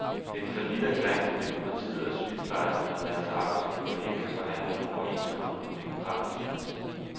Det er en falliterklæring for demokratiet, at sygeplejerskerne og deres arbejdsgivere ikke kan forhandle en overenskomst på demokratisk vis.